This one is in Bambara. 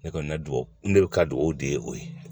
Ne kɔni ka duwawu ne bɛ ka du o de ye o ye